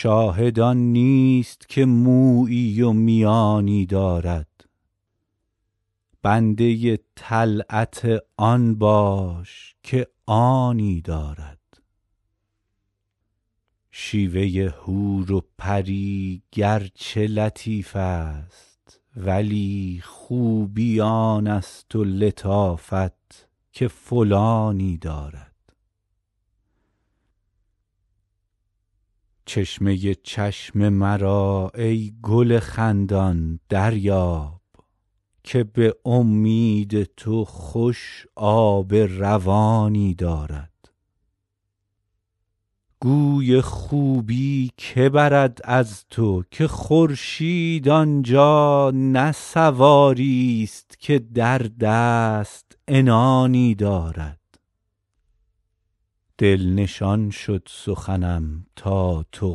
شاهد آن نیست که مویی و میانی دارد بنده طلعت آن باش که آنی دارد شیوه حور و پری گرچه لطیف است ولی خوبی آن است و لطافت که فلانی دارد چشمه چشم مرا ای گل خندان دریاب که به امید تو خوش آب روانی دارد گوی خوبی که برد از تو که خورشید آن جا نه سواریست که در دست عنانی دارد دل نشان شد سخنم تا تو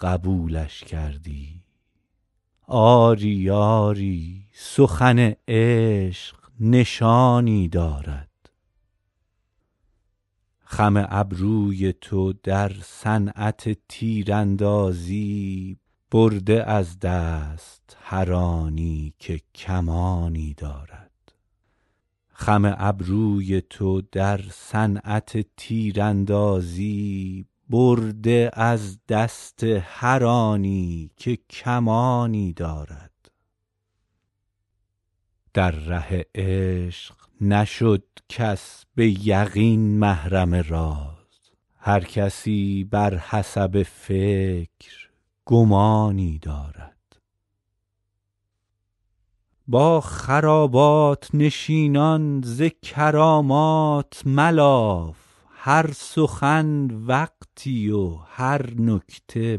قبولش کردی آری آری سخن عشق نشانی دارد خم ابروی تو در صنعت تیراندازی برده از دست هر آن کس که کمانی دارد در ره عشق نشد کس به یقین محرم راز هر کسی بر حسب فکر گمانی دارد با خرابات نشینان ز کرامات ملاف هر سخن وقتی و هر نکته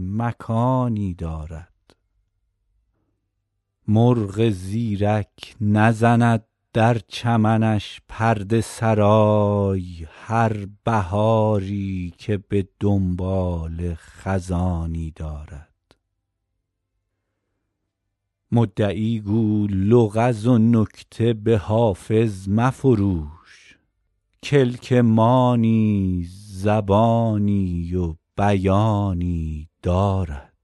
مکانی دارد مرغ زیرک نزند در چمنش پرده سرای هر بهاری که به دنباله خزانی دارد مدعی گو لغز و نکته به حافظ مفروش کلک ما نیز زبانی و بیانی دارد